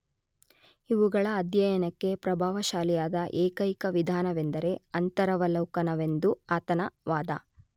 ಇವುಗಳ ಅಧ್ಯಯನಕ್ಕೆ ಪ್ರಭಾವಶಾಲಿಯಾದ ಏಕೈಕ ವಿಧಾನವೆಂದರೆ ಅಂತರವಲೋಕನವೆಂದು ಆತನ ವಾದ.